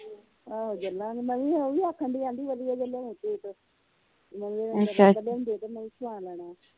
ਆਹੋ ਚਲਾਗੇ ਦੀ ਮੰਮੀ ਆਖਣ ਦੀ ਹੀ ਵਧੀਆ ਜਾ ਲਿਆਵੀਂ ਸੂਟ ਮੈ ਵੀ ਸਵਾ ਲੈਣਾ ਹੀ